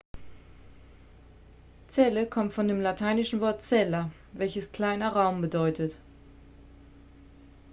zelle kommt von dem lateinischen wort cella welches kleiner raum bedeutet